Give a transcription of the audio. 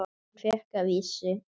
Hann fékk að vísu